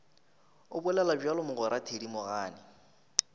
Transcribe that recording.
o bolela bjalo mogwera thedimogane